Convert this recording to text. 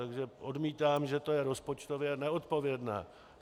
Takže odmítám, že to je rozpočtově neodpovědné.